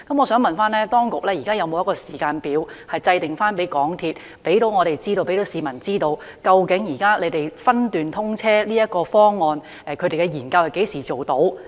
我想問當局現時有否為港鐵公司制訂一個時間表，讓市民知道它就現時分段通車的方案進行的研究可何時完成？